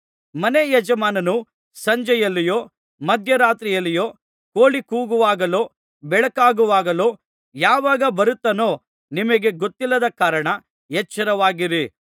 ಮನೆ ಯಜಮಾನನು ಸಂಜೆಯಲ್ಲಿಯೋ ಮಧ್ಯರಾತ್ರಿಯಲ್ಲಿಯೋ ಕೋಳಿ ಕೂಗುವಾಗಲೋ ಬೆಳಕಾಗುವಾಗಲೋ ಯಾವಾಗ ಬರುತ್ತಾನೋ ನಿಮಗೆ ಗೊತ್ತಿಲ್ಲದ ಕಾರಣ ಎಚ್ಚರವಾಗಿರಿ